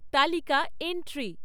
তালিকা এন্ট্রি